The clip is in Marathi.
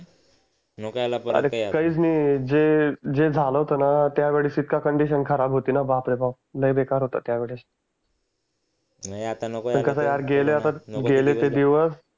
नको यायला परत अरे काहीच नाही जे जे झालं होतं ना त्यावेळीस इतकं कोंडिशन खराब होती ना बाप रे बाप लई बेकार होतं त्यावेळेस नाही आता नको यायला परत गेले ते दिवस